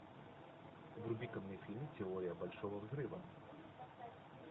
вруби ка мне фильм теория большого взрыва